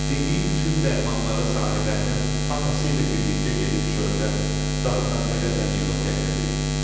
Dediyi bütün dərmanları Sahibəlinin atası ilə birlikdə gedib çöldən, dağdan-dərədən yığıb gətirdi.